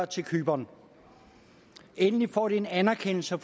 til cypern endelig får de en anerkendelse